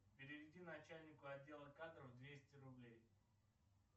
переведи начальнику отдела кадров двести рублей